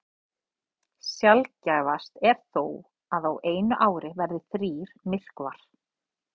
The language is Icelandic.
Sjaldgæfast er þó að á einu ári verði þrír myrkvar.